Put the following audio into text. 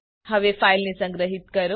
હવે ફાઈલને સંગ્રહિત કરો